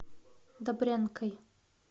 добрянкой